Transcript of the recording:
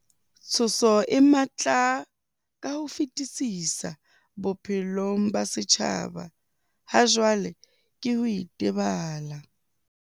Tshoso e matla ka ho fetisisa bophelong ba setjhaba hajwale ke ho itebala.